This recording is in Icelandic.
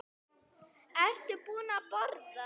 Ertu búin að borða?